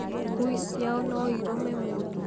ngui ciao noirũme mũndũ?